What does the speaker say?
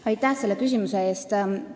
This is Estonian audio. Aitäh selle küsimuse eest!